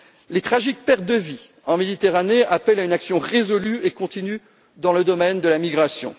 Les tragiques pertes de vies humaines en Méditerranée appellent à une action résolue et continue dans le domaine de la migration.